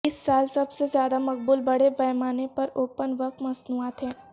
اس سال سب سے زیادہ مقبول بڑے پیمانے پر اوپن ورک مصنوعات ہیں